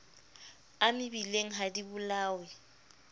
a mebileng ha di bolawe